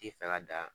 Ti fɛ ka dan